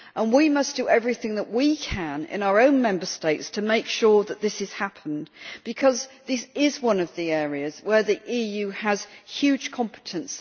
We must do everything that we can in our own Member States to make sure that this is happening, because this is one of the areas where the EU has huge competence.